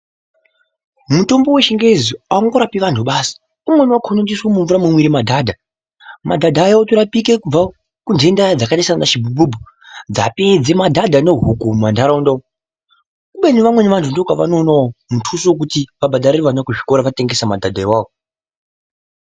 Mutombo weChiNgezi haungorapi vantu basi. Umweni wakona unotoiswe mumvura munomwire madhadha. Madhadha aya otorapike kubva kundenda dzakaite sanachibhubhubhu dzapedze madhadha nohuku mumantaraunda umu. Kubeni vamweni vantu ndokwavanoonawo mutuso wekuti vabhadharire vana kuzvikora vatengesa madhadha iwawo.